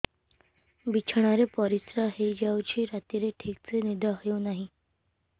ବିଛଣା ରେ ପରିଶ୍ରା ହେଇ ଯାଉଛି ରାତିରେ ଠିକ ସେ ନିଦ ହେଉନାହିଁ